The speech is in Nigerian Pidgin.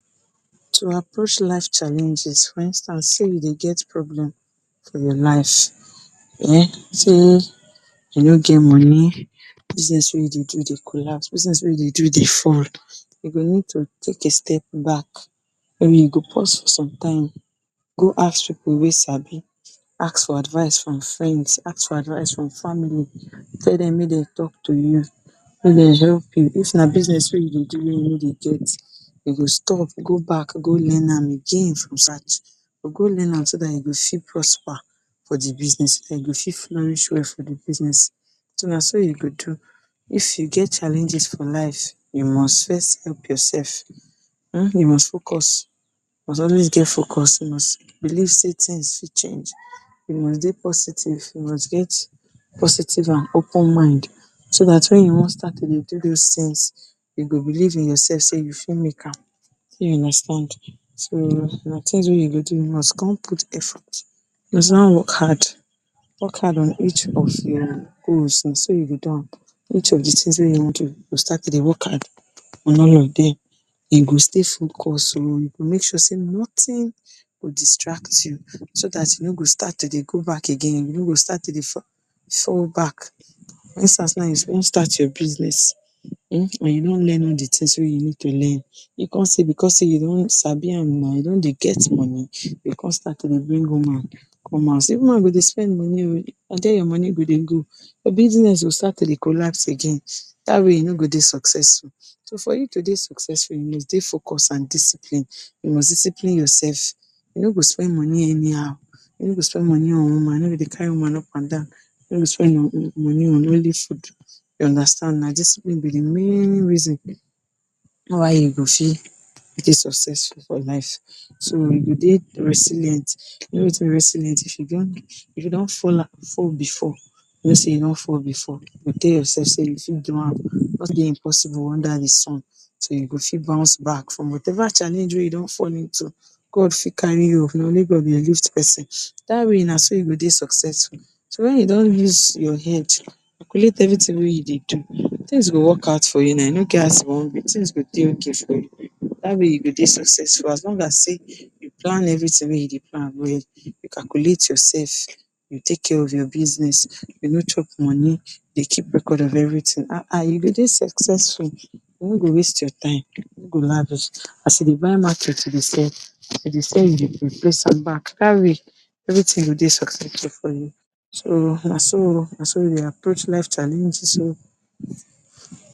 To approach life challenges for instance sey we dey get problem for your life, sey you no get money, business wey you dey do dey collapse, business wey you dey do dey fall. You go need to take a step back, den you go pause for some time. Go ask pipu wey sabi. Ask for advice from friends, ask for advice from family. Tell dem make de talk to you. Make de help youy. If na business wey you dey do, wey you no dey get, you go stop. Go back go learn am again from scratch. You go learn am so dat you go fit prosper for the business and you go fit flourish well for the business. So, na so you go do. If you get challenges for life, you must first help yourself. um you must focus you must always dey focus. You must believe sey things fit change. You must dey positive. You must get positive and open mind. So dat, wen you wan start to dey do dos things, you go believe in yourself sey you fit make am. you understand? So, na things wey you go do. You must con put effort, work hard. Work hard on each of your goals. Na so you go do am. Each of the things wey you wan do, you go start to dey work hard on all of dem. You go stay focus oh. You go make sure sey nothing go distract you so dat you no go start to dey go back again. You no go start to dey fall back. you suppose start your business, um you don learn all the things wey you need to learn. You con sey becos sey you don sabi now, you don dey get money, you go con start to dey bring woman come house. Even you dey spend money oh, na dere your money go dey go. Your business go start to dey collapse again. Dat way, youn no go dey successful. So, for you to dey successful, you must dey focus and discipline. You must discipline yourself. You no go spend money anyhow. You no go spend money on woman. You no go dey carry woman up and down. You no spend money on food. You understand. Na discipline be the main reason why you go fit dey successful for life. So, you go dey resilient. You know wetin be resilient? If you don, If you don, fall before, you know sey you don fall, you tell yourself say, you fit do am. Nothing dey impossible under the sun. So, you go fit bounce back from whatever challenge wey you don fall into. God fit carry you oh. Na only God fit uplift pesin. Dat way na so you go dey successful. So, wen you don use your head calculate everything wey you dey do, things go work out for you na. E no get as e wan be, things go dey okay for you. Dat way you go dey successful as long as sey you plan everything wey you dey plan well. You calculate yourself, you take care of your business, de no chop money, they keep record of everything.[um] you go dey successful. You no go waste your time. You no go lavish. As you dey market, you dey sell. As you dey sell, you dey replace am back. Dat way everything go dey successful for you. So, na so na so you dey approach life challenges oh